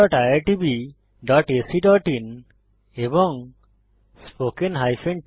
oscariitbacআইএন এবং spoken tutorialorgnmeict intro